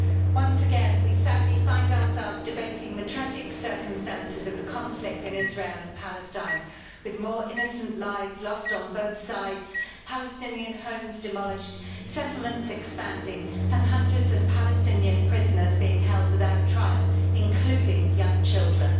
Once again, we find ourselves debating the tragic circumstances of the conflict in Israel and Palestine, with more innocent lives lost on both sides, Palestinian homes demolished, settlements expanding and hundreds of Palestinian prisoners being held without trial, including young children.